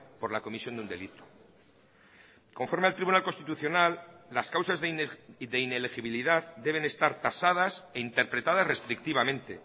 por la comisión de un delito conforme al tribunal constitucional las causas de inelegibilidad deben estar tasadas e interpretadas restrictivamente